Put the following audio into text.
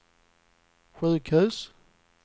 sjukhus